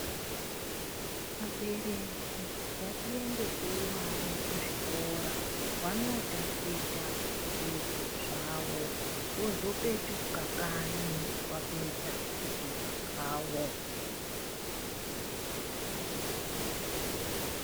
Abereki ngatiendesei vana kuzvikora vanotangidza zvidzidzo zvavo vozopetuka kanyi vapedza zvidzidzo zvavo.